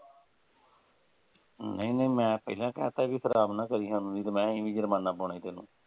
ਨਹੀਂ ਨਹੀਂ ਮੈਂ ਪਹਿਲਾਂ ਹੀ ਕਹਿ ਤਾ ਸੀ ਖਰਾਬ ਨਾ ਕਰੀ ਸਾਨੂੰ ਨਹੀਂ ਤੇ ਮੈਂ ਅਸੀਂ ਵੀ ਜੁਰਮਾਨਾ ਪਾਉਣਾ ਈ ਤੈਨੂੰ।